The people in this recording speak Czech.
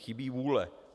Chybí vůle.